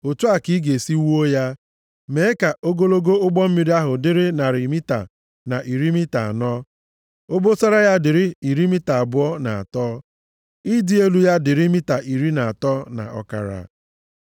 Otu a ka i ga-esi wuo ya: mee ka ogologo ụgbọ mmiri ahụ dịrị narị mita na iri mita anọ, obosara ya dịrị iri mita abụọ na atọ, ịdị elu ya dịrị mita iri na atọ na ọkara.